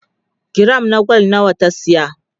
giram na gwal nawa ta saya?